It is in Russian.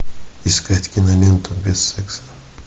искать киноленту без секса